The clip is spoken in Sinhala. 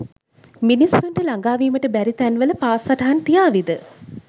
මිනිසුන්ට ලගා වීමට බෑරි තෑන්වල පා සටහන් තියාවිද?